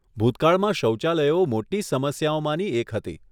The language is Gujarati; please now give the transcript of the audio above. ભૂતકાળમાં શૌચાલયો મોટી સમસ્યાઓમાંની એક હતી.